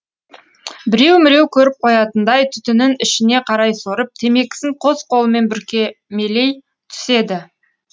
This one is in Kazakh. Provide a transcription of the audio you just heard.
біреу міреу көріп қоятындай түтінін ішіне қарай сорып темекісін қос қолымен бүркемелей түседі